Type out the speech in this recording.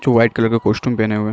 जो white colour के costume पेहने हुए है।